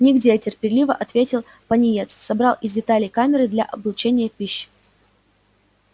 нигде терпеливо ответил пониетс собрал из деталей камеры для облучения пищи